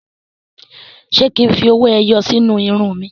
Ṣé kí n fi owó ẹyọ sí inú irun mi?